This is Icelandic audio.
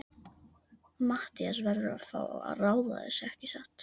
Matthías verður að fá að ráða þessu, ekki satt?